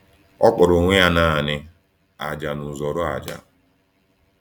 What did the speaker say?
Ọ kpọrọ onwe ya naanị ájá na uzọ́ró ájá.